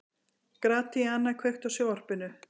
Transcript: Gratíana, kveiktu á sjónvarpinu.